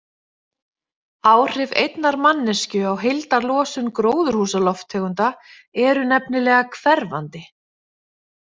Áhrif einnar manneskju á heildarlosun gróðurhúsalofttegunda eru nefnilega hverfandi.